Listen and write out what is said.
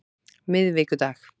miðvikudag